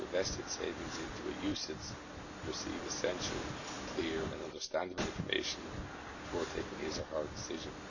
invest its savings into a UCITS should receive essential, clear and understandable information before taking his or her decision.